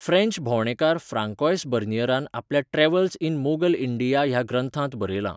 French भोंवडेकार Francois बर्नियरान आपल्या 'ट्रॅव्हल्स इन मोगल इंडिया' ह्या ग्रंथांत बरयलां